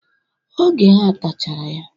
Oge ha tachara ya.